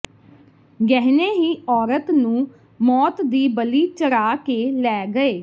ਗਹਿਣੇ ਹੀ ਔਰਤ ਨੂੰ ਮੌਤ ਦੀ ਬਲੀ ਚੜ੍ਹਾ ਕੇ ਲੈ ਗਏ